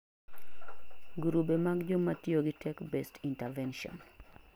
grube mag jomatiyogi tech based intervention